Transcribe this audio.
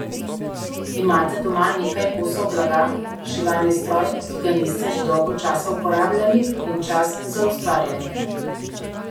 Imate doma nekaj kosov blaga, šivalni stroj, ki ga niste že dolgo časa uporabljali, in čas za ustvarjanje?